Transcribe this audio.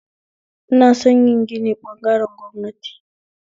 Ina son yin gini ɓagaren gwamnati